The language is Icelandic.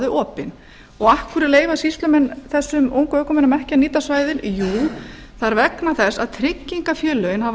þau opin af hverju leyfa sýslumenn þessum ungumönnum ekki að nýta svæðin jú það er vegna þess að tryggingafélögin hafa